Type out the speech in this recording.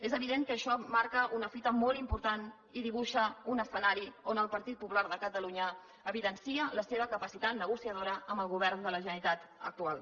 és evident que això marca una fita molt important i dibuixa un escenari on el partit popular de catalunya evidencia la seva capacitat negociadora amb el govern de la generalitat actual